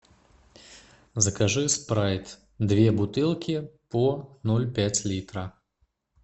закажи спрайт две бутылки по ноль пять литра